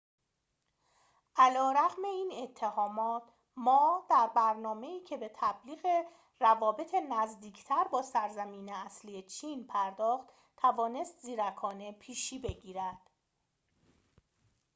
علی‌رغم این اتهامات ما در برنامه‌ای که به تبلیغ روابط نزدیکتر با سرزمین اصلی چین پرداخت توانست زیرکانه پیشی بگیرد